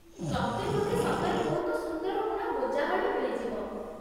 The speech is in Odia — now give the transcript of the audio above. ତତେ ବୋଧେ ସତରେ ବହୁତ ସୁନ୍ଦର ବୁଣା ମୋଜା ହଳେ ମିଳିଯିବ ।